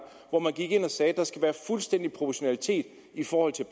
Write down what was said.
og man gik ind og sagde at der skal være fuldstændig proportionalitet i forhold til